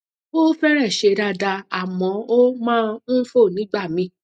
ó fẹrẹẹ ṣe dáadáa àmọ ó máa ń fò nígbà míì